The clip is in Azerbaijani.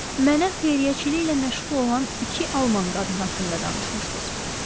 Mənə xeyriyyəçiliklə məşğul olan iki alman qadını haqqında danışmışdınız.